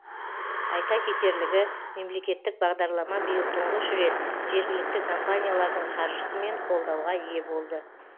айта кетерлігі мемлекеттік бағдарлама биыл тұңғыш рет жергілікті компаниялардың қаржысымен қолдауға ие болды